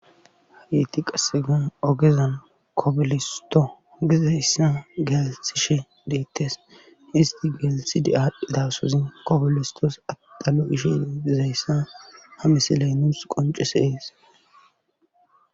hageti qassekka ogezan kobolisto gizayssa gelisishe deettes isti geelisidi aadhdhi daasozi kobolistos adalo, ishe dizayssa ha misiley nuus qoncis ees